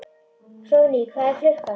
Hróðný, hvað er klukkan?